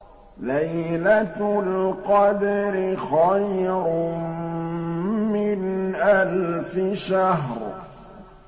لَيْلَةُ الْقَدْرِ خَيْرٌ مِّنْ أَلْفِ شَهْرٍ